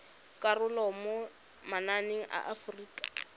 karolo mo mananeng a aforika